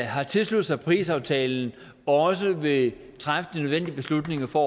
har tilsluttet sig parisaftalen også vil træffe de nødvendige beslutninger for